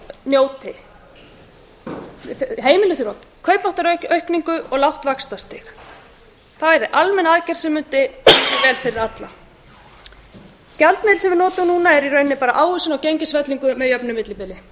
njóti heimilin þurfa kaupmáttaraukningu og lágt vaxtastig það yrði almenn aðgerð sem mundi koma sér vel fyrir alla gjaldmiðill sem við notum núna er í rauninni bara ávöxtun á gengisfellingu með jöfnu millibili